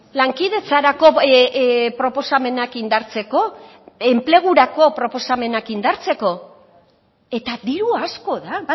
lankidetzarako proposamenak indartzeko enplegurako proposamenak indartzeko eta diru asko da